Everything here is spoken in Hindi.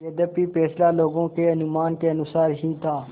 यद्यपि फैसला लोगों के अनुमान के अनुसार ही था